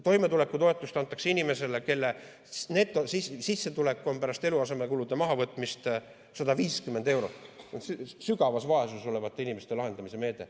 Toimetulekutoetust antakse inimesele, kelle netosissetulek pärast eluasemekulude mahavõtmist on 150 eurot, see on sügavas vaesuses olevate inimeste lahendamise meede.